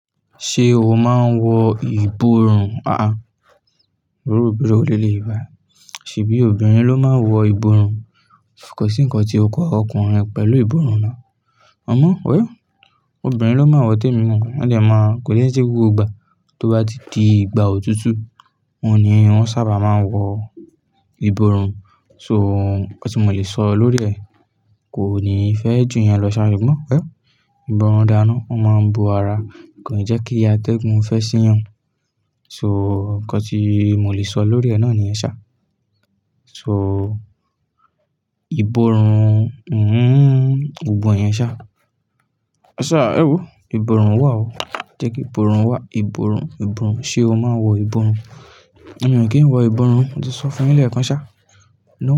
Ṣé o máa ń wọ ìborùn? Àá, lórí obìnrin ò le lè wá, ṣheybi obìnrin ló máa ń wọ ìborùn. Ṣé nǹkan tí o kọ ọkùnrin rẹ pẹ̀lú ìbòrùn náà? Amọ, ó yọ. Obìnrin ló máa ń wọ tèmi mọ́, wọ́n dẹ̀ máa ń kò ní ẹsẹ gbogbo gba, tó bá di ìgbà òtútù, wọ́n ni wọ́n sábà máa ń wọ ìborùn. So, nǹkan tí mo lè sọ lórí ẹ̀, kò ní fẹ́ jù yẹn lọ ṣàì rí gbọ́n pẹ́. Ìbòrùn dáná, ó máa ń bo ara, kò ní jẹ́ kí iyá tẹ́gùn fẹ́ sí yàn. So, nǹkan tí mo lè sọ lórí ẹ̀ náà ni yẹn sá. So, ìbòrùn, mm, gbogbo yẹ̀n sá. Ẹ sá, ẹ wò, ìbòrùn wà o. Jẹ́ kí ìbòrùn wà. Ìbòrùn, ìbòrùn. Ṣé o máa ń wọ ìbòrùn? Mo mọ̀ kí ń wọ ìbòrùn, mo ti sọ fún ẹ lẹ́ẹ̀kan sá.